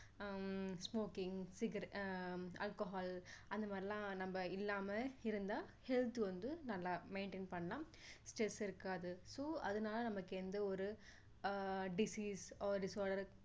ஹம் smoking cigara~ ஆஹ் alcohol அந்த மாதிரிலாம் நம்ம இல்லாம இருந்தா health வந்து நல்லா maintain பண்ணலாம் stress இருக்காது so அதனால நமக்கு எந்த ஒரு அஹ் disease